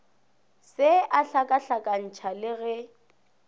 se a hlakahlakantšha le ge